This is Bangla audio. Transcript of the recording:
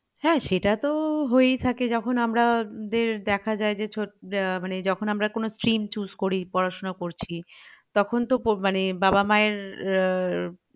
হ্যাঁ সেটা তো হয়েই থাকে যখন আমরা~দের দেখা যাই যে মানে আহ যখন আমরা stream choose করি পড়াশোনা করছি তখন তো মানে বাবা মায়ের আহ